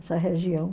Essa região.